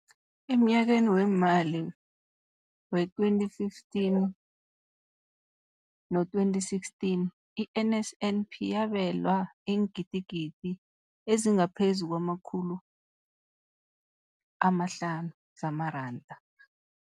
Emnyakeni weemali we-2015 no-2016, i-NSNP yabelwa iingidigidi ezingaphezu kwama-500 zamaranda.